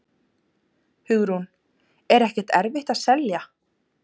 Hugrún: Er ekkert erfitt að selja?